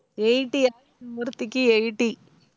eighty ஒருத்திக்கு eighty